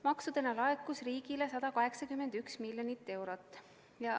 Maksudena laekus riigile 181 miljonit eurot.